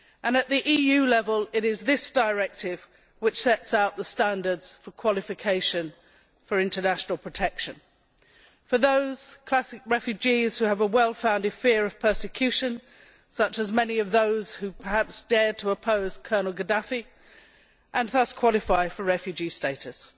At EU level, it is this directive which sets out the standards for qualification for international protection for those classic refugees who have a well founded fear of persecution such as many of those who dared to oppose Colonel Gadaffi and thus qualified for refugee status